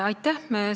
Aitäh!